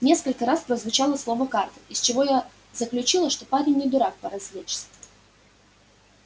несколько раз прозвучало слово карта из чего я заключила что парень не дурак поразвлечься